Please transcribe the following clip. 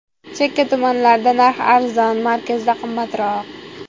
Chekka tumanlarda narx arzon, markazda qimmatroq.